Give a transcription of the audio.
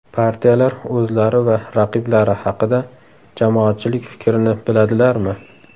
Partiyalar o‘zlari va raqiblari haqida jamoatchilik fikrini biladilarmi?